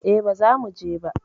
E, bazamu je ba